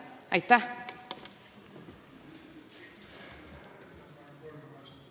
Aitäh!